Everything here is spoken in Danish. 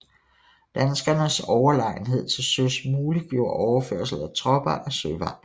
Danskernes overlegenhed til søs muliggjorde overførsel af tropper ad søvejen